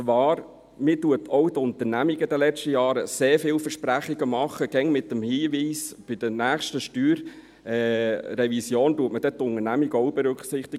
Man hat auch den Unternehmen in den letzten Jahren sehr viel versprochen, immer mit dem Hinweis, man würde die Unternehmen bei der nächsten Steuerrevision mit Entlastungen berücksichtigen.